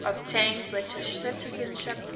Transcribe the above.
obtain british citizenship